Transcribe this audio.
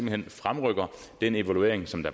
hen fremrykker den evaluering som der